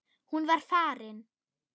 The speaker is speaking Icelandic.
Hún var farin.